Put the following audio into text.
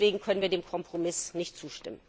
Deswegen können wir dem Kompromiss nicht zustimmen.